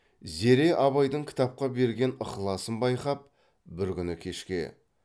зере абайдың кітапқа берген ықласын байқап бір күні кешке